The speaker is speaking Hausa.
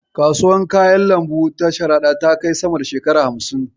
Kasuwar kayan lambu ta Sharaɗa ta kai sama da shekara hamsin.